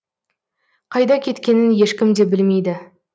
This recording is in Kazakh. қайда кеткенін ешкім де білмейді